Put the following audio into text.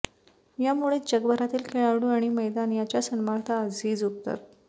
यामुळेच जगभरातील खेळाडू आणि मैदान त्याच्या सन्मानार्थ आजही झुकतात